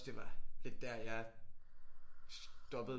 Det var lidt der jeg stoppede